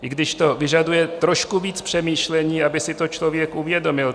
I když to vyžaduje trošku víc přemýšlení, aby si to člověk uvědomil.